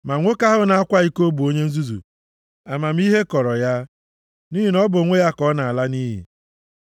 Ma nwoke ahụ na-akwa iko bụ onye nzuzu, amamihe kọrọ ya, nʼihi na ọ bụ onwe ya ka ọ na-ala nʼiyi.